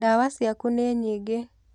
Ndawa ciaku nĩ nyingĩ.